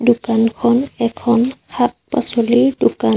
দোকানখন এখন শাক পাচলিৰ দোকান।